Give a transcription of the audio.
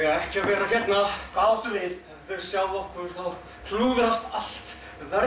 ekki að vera hérna hvað áttu við ef þau sjá okkur þá klúðrast allt